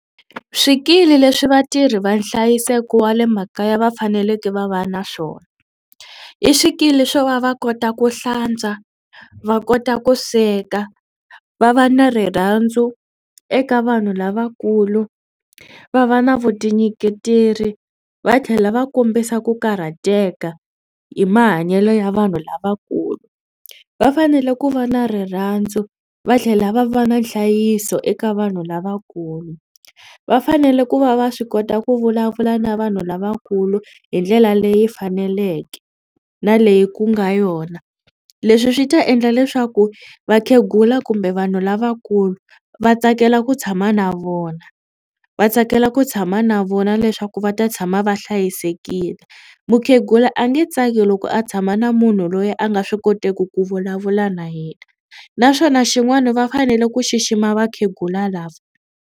Swikili leswi vatirhi va nhlayiseko wa le makaya va faneleke va va na swona i swikili swo va va kota ku hlantswa, va kota ku sweka, va va na rirhandzu eka vanhu lavakulu, va va na vutinyiketeli va tlhela va kombisa ku karhateka hi mahanyelo ya vanhu lavakulu. Va fanele ku va na rirhandzu va tlhela va va na nhlayiso eka vanhu lavakulu. Va fanele ku va va swi kota ku vulavula na vanhu lavakulu hi ndlela leyi faneleke na leyi ku nga yona. Leswi swi ta endla leswaku vakhegula kumbe vanhu lavakulu va tsakela ku tshama na vona va tsakela ku tshama na vona leswaku va ta tshama va hlayisekile. Mukhegula a nge tsaki loko a tshama na munhu loyi a nga swi koteki ku vulavula na yena naswona xin'wana va fanele ku xixima vakhegula lava.